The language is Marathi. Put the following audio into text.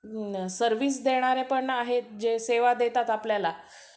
सर्व्हिस देणारे पण आहेत जे सेवा देतात आपल्याला